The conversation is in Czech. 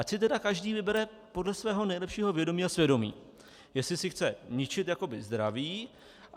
Ať si tedy každý vybere podle svého nejlepšího vědomí a svědomí, jestli si chce ničit jakoby zdraví.